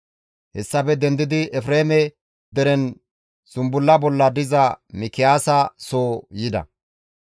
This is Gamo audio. Hessafe dendidi Efreeme deren zumbulla bolla diza Mikiyaasa soo yida.